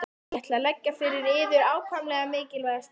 Ég ætla að leggja fyrir yður ákaflega mikilvæga spurningu, doktor.